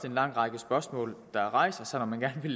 en lang række spørgsmål der rejser sig når man gerne vil